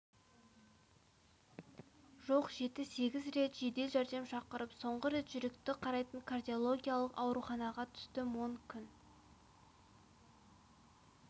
жоқ жеті-сегіз рет жедел жәрдем шақырып соңғы рет жүректі қарайтын кардиологиялық ауруханаға түстім он күн